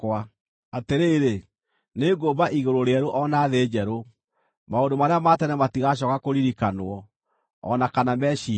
“Atĩrĩrĩ, nĩngũmba igũrũ rĩerũ o na thĩ njerũ. Maũndũ marĩa ma tene matigacooka kũririkanwo, o na kana meciirio.